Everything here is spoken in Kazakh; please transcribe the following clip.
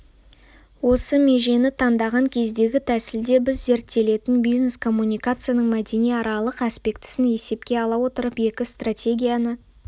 осы межені таңдаған кездегі тәсілде біз зерттелетін бизнес-коммуникацияның мәдениаралық аспектісін есепке ала отырып екі стратегияны